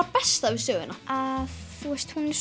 besta við söguna að þú veist hún er